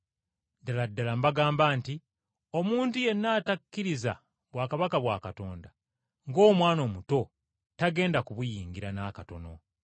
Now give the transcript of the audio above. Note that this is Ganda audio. Ddala ddala mbagamba nti omuntu yenna atakkiriza bwakabaka bwa Katonda ng’omwana omuto, tagenda kubuyingira n’akatono.”